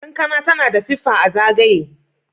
kankana tana da siffa a zagaye